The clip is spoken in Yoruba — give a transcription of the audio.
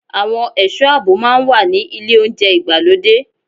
Àwọn ẹ̀sọ́ àbò máa ń wà ní ilé oúnjẹ ìgbàlódé.